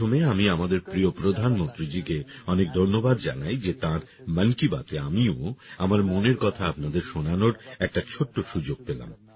সবার প্রথমে আমি আমাদের প্রিয় প্রধানমন্ত্রীজিকে অনেক ধন্যবাদ জানাই যে তাঁর মন কি বাতে আমিও আমার মনের কথা আপনাদের শোনানোর একটা ছোট্ট সুযোগ পেলাম